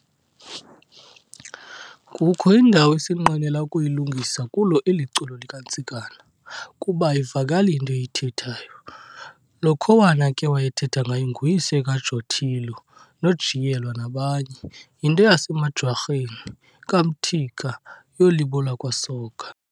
Kukho indawo esinqwenela ukuyilungisa kulo eli culo likaNtsikana, kuba ayivakali into eyithethayo. Lo khowana ke wayethetha ngaye nguyise kaJotello noJiyelwa nabanye, yinto yasemaJwarheni, kaMthika, yomlibo wakwaSoga.